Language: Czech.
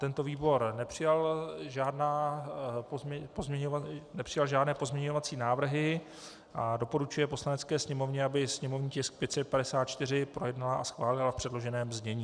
Tento výbor nepřijal žádné pozměňovací návrhy a doporučuje Poslanecké sněmovně, aby sněmovní tisk 554 projednala a schválila v předloženém znění.